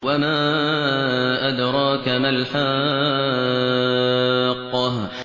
وَمَا أَدْرَاكَ مَا الْحَاقَّةُ